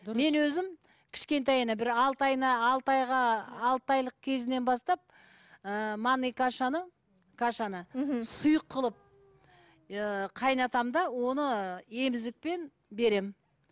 мен өзім кішкентайына бір алты айына алты айға алты айлық кезінен бастап ыыы манный кашаны кашаны мхм сұйық қылып ыыы қайнатамын да оны емізікпен беремін